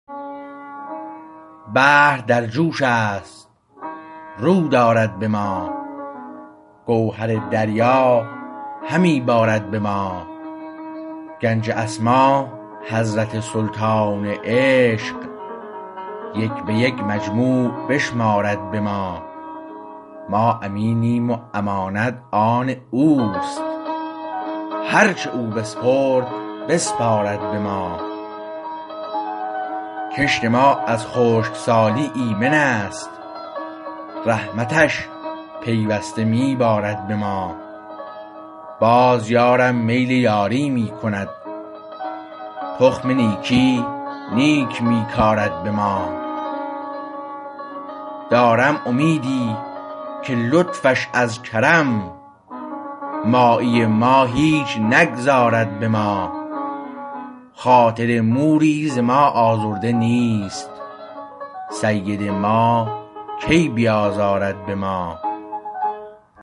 بحر در جوش است و رو دارد به ما گوهر دریا همی بارد به ما گنج اسما حضرت سلطان عشق یک به یک مجموع بشمارد به ما ما امینیم و امانت آن اوست هر چه او بسپرد بسپارد به ما کشت ما از خشکسالی ایمنست رحمتش پیوسته می بارد به ما باز یارم میل یاری می کند تخم نیکی نیک می کارد به ما دارم امیدی که لطفش از کرم مایی ما هیچ نگذارد به ما خاطر موری ز ما آزرده نیست سید ما کی بیازارد به ما